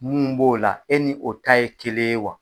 Mun b'o la e ni o ta ye kelen ye wa.